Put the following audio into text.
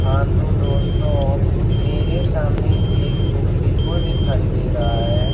हां तो दोस्तो मेरे सामने एक बुक डिपो दिखाई दे रहा है।